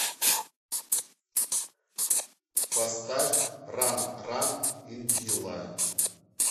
поставь ран ран индила